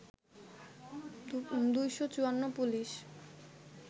২৫৪ police